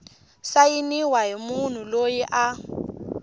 sayiniwa hi munhu loyi a